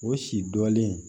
O si dɔnlen